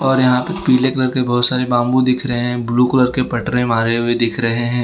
और यहां पे पीले कलर के बहोत सारे बाम्बू दिख रहे हैं ब्लू कलर के पटरे मारे हुए दिख रहे हैं।